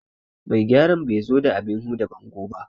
Mai gyaran ban zo da abin huda bango ba